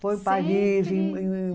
Foi em Paris.